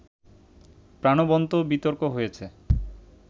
প্রাণবন্ত বিতর্ক হয়েছে